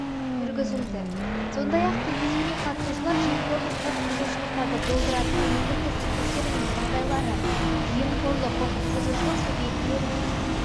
жүргізілді сондай ақ кездесуге қатысушылар жемқорлық құқықбұзушылықтарды болдыратын негізгі себептері мен жағдайлары жемқорлық құқықбұзушылық субъектілеріне